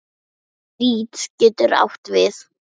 Krít getur átt við